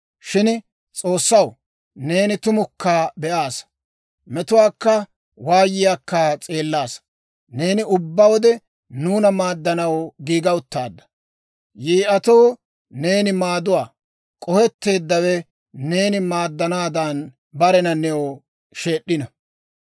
Shin S'oossaw, neeni tumukka be'aasa; metuwaakka waayiyaakka s'eellaasa. Neeni ubbaa wode nuuna maaddanaw giiga uttaadda. Yii'atoo neeni maaduwaa. K'ohetteeddawe neeni maaddanaadan barena new sheed'd'e.